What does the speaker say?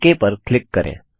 okay पर click करें